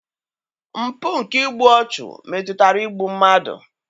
Mpụ nke igbu ọchụ metụtara igbu mmadụ.